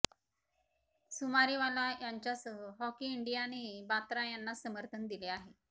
सुमारीवाला यांच्यासह हॉकी इंडियानेही बात्रा यांनाच समर्थन दिले आहे